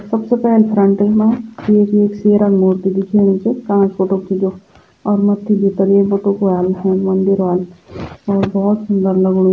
सबसे पैल फ्रंट वेमा ऐक येक शेरा मूर्ती दिख्येणी च कांच पुटुक च जो और मत्थी भितर येक बठुख ह्वाल फिर मंदिर ह्वाल और भौत सुन्दर लगणु।